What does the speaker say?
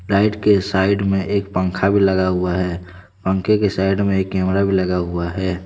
Light के side में एक पंखा भी लगा हुआ है पंखे के साइड में एक कैमरा भी लगा हुआ है।